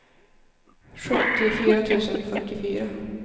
sjuttiofyra tusen fyrtiofyra